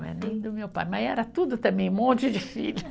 Não é nem do meu pai, mas era tudo também, um monte de filho.